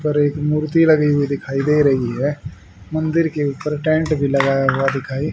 ऊपर एक मूर्ति लगी हुई दिखाई दे रही है मंदिर के ऊपर टेंट भी लगाया हुआ दिखाई--